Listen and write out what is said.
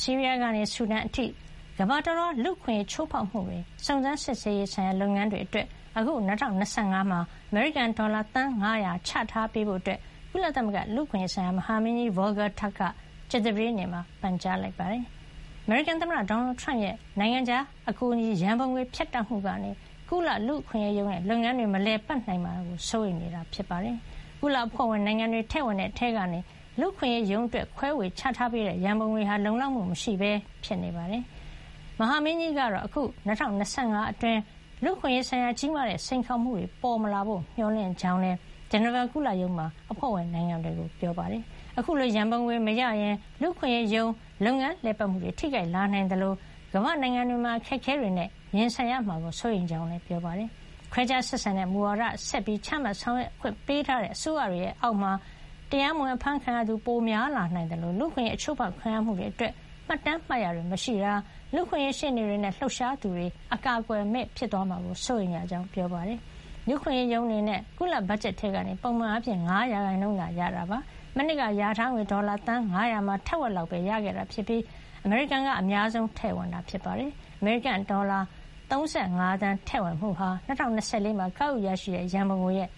ဆီးရီးယားကနေ ဆူဒန်အထိ ကမ္ဘာတလွှား လူ့အခွင့်အရေး ချိုးဖေါက်မှု စုံစမ်းစစ်ဆေးရေးဆိုင်ရာ လုပ်ငန်းတွေအတွက် အခု ၂၀၂၅ မှာ အမေရိကန်ဒေါ်လာ သန်း ၅၀၀ ချထားပေးဖို့ ကုလသမဂ္ဂလူ့အခွင့်အရေး ဆိုင်ရာ မဟာမင်းကြီး Volker Turk က ကြာသပတေးနေ့မှာ ပန်ကြားလိုက်ပါတယ်။ အမေရိကန် သမ္မတဒေါ်နယ်ထရမ့်ရဲ့ နိုင်ငံခြားအကူအညီ ရံပုံငွေဖြတ်တောက်မှုကနေ ကုလလူ့အခွင့်အရေးရုံး ရဲ့ လုပ်ငန်းတွေ မလည်ပတ်နိုင်မှာ စိုးရိမ်နေတာဖြစ်ပါတယ်။ ကုလအဖွဲ့ဝင် နိုင်ငံတွေထည့်ဝင်တဲ့ ထဲကနေ လူ့အခွင့်အရေးရုံးအတွက် ခွဲဝေချထားပေးတဲ့ ရံပုံငွေဟာ လုံလောက်မှု မရှိပဲ ဖြစ်နေတာပါ။ မဟာမင်းကြီးကတော့ အခု ၂၀၂၅ ခုနှစ်အတွင်း လူ့အခွင့်အရေး ဆိုင်ရာ ကြီးမားတဲ့ စိန်ခေါ်မှုတွေ ပေါ်မလာဖို့ မျှော်လင့်ကြောင်း လည်း ဂျနီဗာ ကုလရုံးမှာ အဖွဲ့ဝင်နိုင်ငံတွေကို ပြောပါတယ်။ အခုလို ရံပုံငွေ မရရင် လူ့အခွင့်အရေးရုံး လုပ်ငန်းလည်ပတ်မှုတွေ ထိခိုက်လာနိုင်သလို ကမ္ဘာ့နိုင်ငံတွေမှာ အခက်အခဲတွေနဲ့ ရင်ဆိုင်ရမှာကို စိုးရိမ်ကြောင်းလည်း ပြောပါတယ်။ ခွဲခြားဆက်ဆံတဲ့ မူဝါဒတွေ ဆက်ပြီး ချမှတ် ဆောင်ရွက်ခွင့် ပေးထားတဲ့ အစိုးရတွေအောက်မှာ တရားမဝင် အဖမ်းခံရသူ ပိုများလာနိုင်သလို လူ့အခွင့်အရေး အချိုးဖေါက်ခံရမှုတွေ အတွက် မှတ်တမ်း မှတ်ရာတွေ မရှိတာ၊ လူ့အခွင့်အရေးရှေ့နေတွေနဲ့ လှုပ်ရှားသူတွေ အကာကွယ်မဲ့ သွားမှာကို စိုးရိမ်ကြောင်း ပြောပါတယ်။ လူ့အခွင့်အရေးရုံး အနေနဲ့ ကုလဘတ်ဂျတ်ထဲကနေ ပုံမှန်အားဖြင့် ၅ % သာ ရတာ ဖြစ်ပါတယ်။ မနှစ်ကလျာထားငွေ ဒေါ်လာ သန်း ၅၀၀ မှာ ထက်ဝက်လောက်ပဲ ရခဲ့တာ ဖြစ်ပြီး အမေရိကန်က အများဆုံး ထည့်ဝင်တာ ဖြစ်ပါတယ်။ အမေရိကန်ရဲ့ ဒေါ်လာ ၃၅ သန်း ထည့်ဝင်မှုဟာ ၂၀၂၄ မှာ ကောက်ယူ ရရှိတဲ့ ရံပုံငွေရဲ့